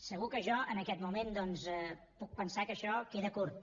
segur que jo en aquest moment doncs puc pensar que això queda curt